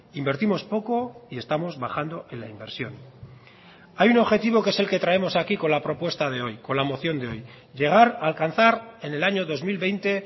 invertimos poco y estamos bajando en la inversión hay un objetivo que es el que traemos aquí con la propuesta de hoy con la moción de hoy llegar a alcanzar en el año dos mil veinte